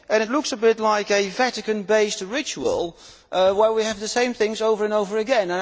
It looks a bit like a Vatican based ritual where we have the same things over and over again.